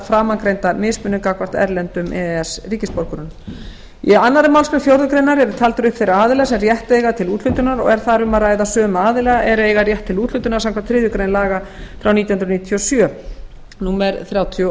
framangreinda mismunun gagnvart erlendum e e s ríkisborgurum í annarri málsgrein fjórðu grein eru taldir upp þeir aðilar sem rétt eiga til úthlutunar og er þar um að ræða sömu aðila er eiga rétt til úthlutunar samkvæmt þriðju grein laga frá nítján hundruð níutíu og sjö númer þrjátíu og